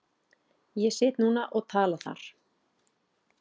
Ég sit núna og tala þar.